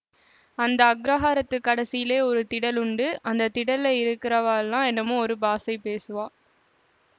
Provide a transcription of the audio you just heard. அந்த அக்ரஹாரத்துக் கடைசீலே ஒரு திடல் உண்டு அந்த திடல்லே இருக்கிறவாளெல்லாம் என்னமோ ஒரு பாஷை பேசுவா